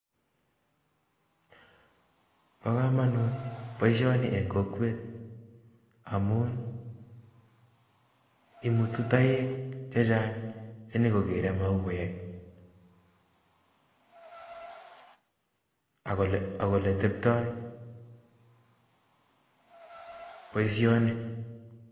Bokomonut boishoni en kokwet amun imutu toek chechang chenyokokere mauek ak oletebtoi boishoni.